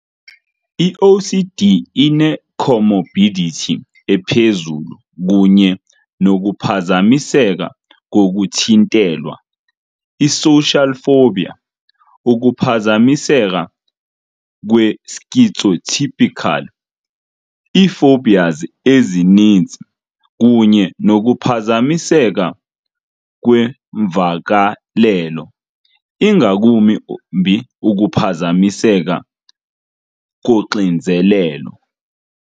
I-OCD ine -comorbidity ephezulu kunye nokuphazamiseka kokuthintelwa, i-social phobia, ukuphazamiseka kwe-schizotypal, ii -phobias ezininzi, kunye nokuphazamiseka kweemvakalelo, ingakumbi ukuphazamiseka koxinzelelo